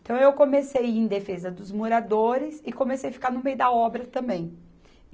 Então, eu comecei ir em defesa dos moradores e comecei a ficar no meio da obra também.